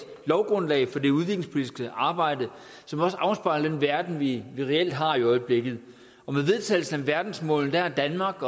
lovgrundlag for det udviklingspolitiske arbejde som også afspejler den verden vi reelt har i øjeblikket og med vedtagelsen af verdensmålene har danmark